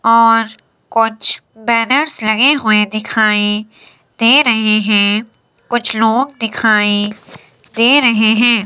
और कुछ बैनर्स लगे हुए दिखाई दे रहे हैं कुछ लोग दिखाई दे रहे हैं।